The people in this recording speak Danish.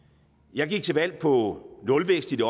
jeg gik til valg på nulvækst i det